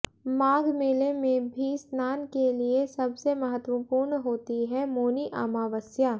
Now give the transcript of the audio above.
माघ मेले में भी स्नान के लिए सबसे महत्वपूर्ण होती है मौनी अमावस्या